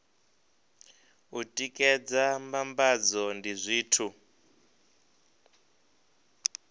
u tikedza mbambadzo ndi zwithu